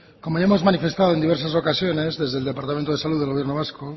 como ya hemos manifestado en diversas ocasiones desde el departamento de salud del gobierno vasco